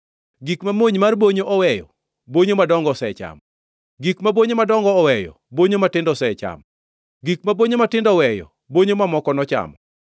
Gik ma mony mar bonyo oweyo, bonyo madongo osechamo; gik ma bonyo madongo oweyo bonyo matindo osechamo, gik ma bonyo matindo oweyo bonyo mamoko nochamo.